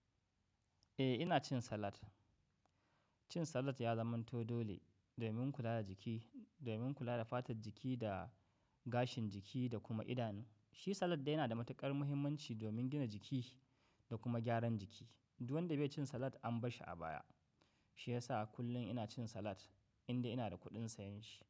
Eh, ina cin salad. Cin salad ya zamanto dole domin kula da jiki, domin kula da fatar jiki da gashin jiki da kuma idanu. Shi salad yana da matuƙar muhimmanci domin gina jiki da kuma gyaran jiki. Duk wanda bai ci salad an bashi a baya. Shi ya sa kullum ina cin salad idan ina da kuɗin sayen shi.